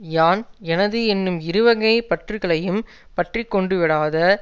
யான் எனது என்னும் இருவகைப் பற்றுக்களையும் பற்றி கொண்டுவிடாத